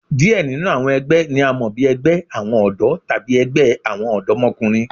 Diẹ ninu awọn ẹgbẹ ni a mọ bi ẹgbẹ awọn ọdọ tabi ẹgbẹ awọn ọdọmọkunrin